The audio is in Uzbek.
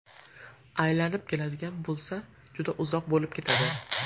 Aylanib keladigan bo‘lsa, juda uzoq bo‘lib ketadi.